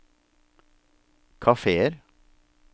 kafeer